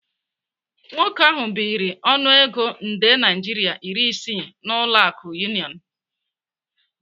Nwoke ahu biri ọnụego nde naira iri isii n'ụlọ akụ Union.